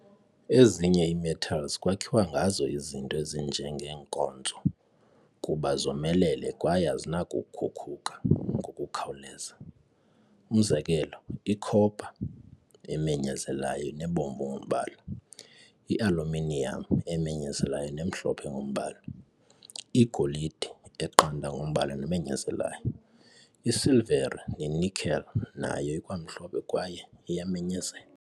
Ezinye ii-metals kwakhiwa ngazo izinto ezinje ngee-nkonzo kuba zomelele kwaye azinakukhuka ngokukhawuleza. Umzekelo, i-copper, emenyezelayo nebomvu ngombala, i-aluminium, emenyezelayo nemhlophe ngombala, igolide, eqanda ngombala nemenyezelayo, isilvere ne-nickel, nayo ikwamhlophe kwaye iyamenyezela.